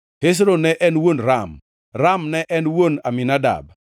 Hezron ne en wuon Ram, Ram ne en wuon Aminadab,